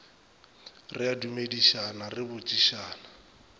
re a dumedišana re botšišana